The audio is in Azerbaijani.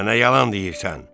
Mənə yalan deyirsən.